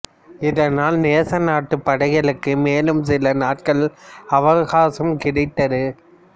இதனால் நேசநாட்டுப் படைகளுக்கு மேலும் சில நாட்கள் அவகாசம் கிடைத்தது